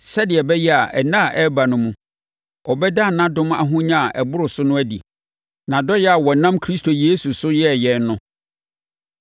sɛdeɛ ɛbɛyɛ a nna a ɛreba no mu, ɔbɛda nʼadom ahonya a ɛboro so no adi; nʼadɔeɛ a ɔnam Kristo Yesu so yɛɛ yɛn no.